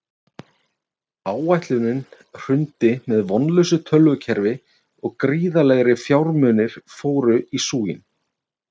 Áætlunin hrundi með vonlausu tölvukerfi og gríðarlegir fjármunir fóru í súginn.